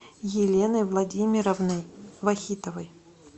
еленой владимировной вахитовой